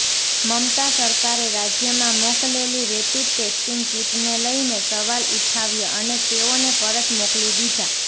મમતા સરકારે રાજ્યમાં મોકલેલી રેપિડ ટેસ્ટિંગ કિટને લઇને સવાલ ઉઠાવ્યા અને તેઓને પરત મોકલી દીધા